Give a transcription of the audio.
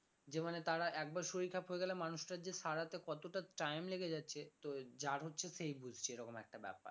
যে মানে তারা একবার শরীর খারাপ হয়ে গেলে মানুষটার যে সারাতে কতটা time লেগে যাচ্ছে তো যার হচ্ছে সেই বুঝছে এরকম একটা ব্যাপার